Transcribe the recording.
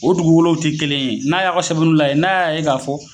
O dugukolow te kelen ye , n'a ya ka sɛbɛnninw lajɛ n'a ya ye ka fɔ